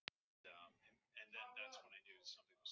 Hólmar, ferð þú með okkur á miðvikudaginn?